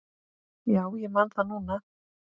Já, ég man það núna.